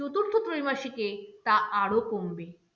ত্রৈমাসিকে তা আরো কমবে।